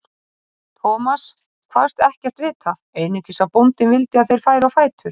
Thomas kvaðst ekkert vita, einungis að bóndinn vildi að þeir færu á fætur.